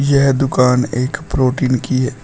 यह दुकान एक प्रोटीन की है।